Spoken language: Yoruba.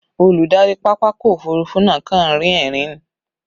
Olùdarí pápákọ̀ òfurufú náà kàn ń rín ẹ̀rín ni